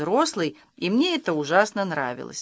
рослый и мне это ужасно нравилось